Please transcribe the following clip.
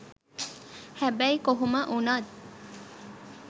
හැබැයි කොහොම වුනත්